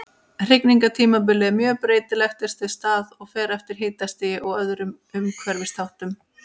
Hrygningartímabilið er mjög breytilegt eftir stað og fer eftir hitastigi og öðrum umhverfisþáttum.